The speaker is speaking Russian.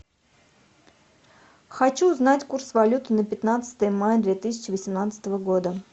хочу узнать курс валют на пятнадцатое мая две тысячи восемнадцатого года